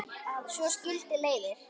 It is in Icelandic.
Svo skildi leiðir.